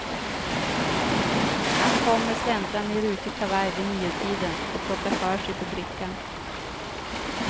Han kommer släntrande i rutig kavaj vid niotiden och plockar för sig på brickan.